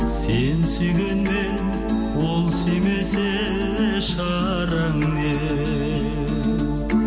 сен сүйгенмен ол сүймесе шараң не